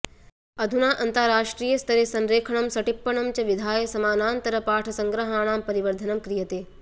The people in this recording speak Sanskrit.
अधुना अन्ताराष्ट्रियस्तरे संरेखनं सटिप्पणं च विधाय समानान्तरपाठसंग्रहाणां परिवर्द्धनं क्रियते